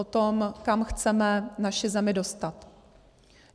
O tom, kam chceme naši zemi dostat.